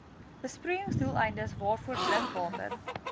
besproeiingsdoeleindes waarvoor drinkwater